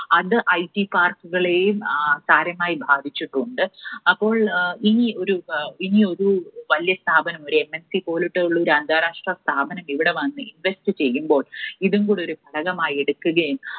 അത് IT park കളെയും സാരമായി ബാധിച്ചിട്ടുണ്ട്. അപ്പോൾ ഇനി ഒരു, ഇനി ഒരു വലിയ സ്ഥാപനം ഒരു MNC പോലെയുള്ള ഒരു അന്താരാഷ്ട്ര സ്ഥാപനം ഇവിടെ വന്ന് invest ചെയ്യുമ്പോൾ ഇതും കൂടെ ഒരു ഘടകമായി എടുക്കുക